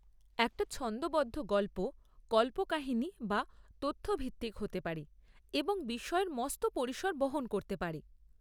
একটা ছন্দবদ্ধ গল্প কল্পকাহিনী বা তথ্য ভিত্তিক হতে পারে এবং বিষয়ের মস্ত পরিসর বহন করতে পারে।